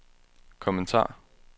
kommentar